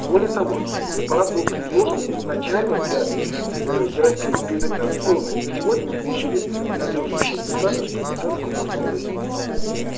более того препарат был предложен изначально для терапии предоперационной ты сегодня мы получили обнадёживающие результаты что пациентку можно спасти без операции